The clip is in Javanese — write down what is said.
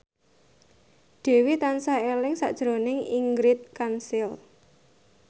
Dewi tansah eling sakjroning Ingrid Kansil